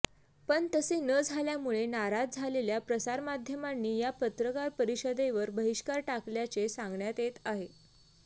पण तसे न झाल्यामुळे नाराज झालेल्या प्रसारमाध्यमांनी या पत्रकार परिषदेवर बहिष्कार टाकल्याचे सांगण्यात येत आहे